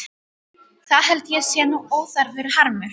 Það held ég sé nú óþarfur harmur.